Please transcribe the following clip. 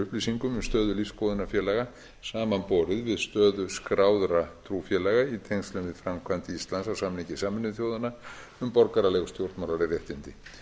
um stöðu lífsskoðunarfélaga samanborið við stöðu skráðra trúfélaga í tengslum við framkvæmd íslands á samningi sameinuðu þjóðanna um borgaraleg og stjórnmálaleg réttindi